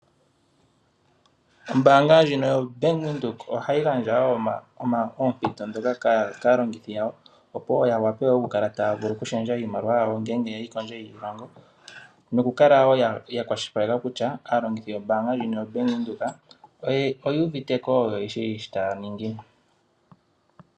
Ombaanga ndjino yo Bank Windhoek ohayi gandja wo oompito ndhoka kaalongithi yawo opo wo wape okukala taya lundulula iimaliwa yawo, ngele yeli kondje yiilongo. Nokukala wo ya kwashilipaleka kutya aalongithi yombaanga ndjino yaBank Windhoek, oye uvite ko yo oye shi shoka taya ningi.